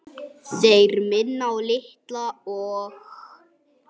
Þeir minna á Litla og